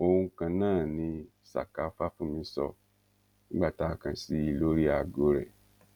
ohun kan náà ni saka fàfúnmi sọ nígbà tá a kàn sí i lórí aago rẹ